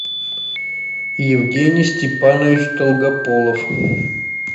евгений степанович долгополов